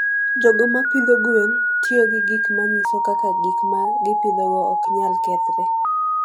jogo ma pidho gwen tiyo gi gik ma nyiso kaka gik ma gipidhogo ok nyal kethre.